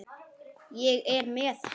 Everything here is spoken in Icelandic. Ég er með hann.